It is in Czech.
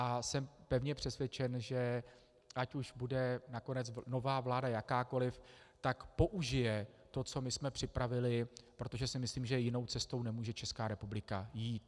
A jsem pevně přesvědčen, že ať už bude nakonec nová vláda jakákoliv, tak použije to, co my jsme připravili, protože si myslím, že jinou cestou nemůže Česká republika jít.